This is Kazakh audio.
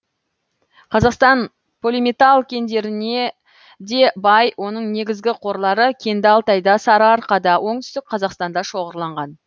қазақстан полиметалл кендеріне де бай оның негізгі қорлары кенді алтайда сарыарқада оңтүстік қазақстанда шоғырланған